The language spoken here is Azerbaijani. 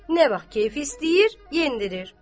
Nə vaxt keyfi istəyir, yendirir.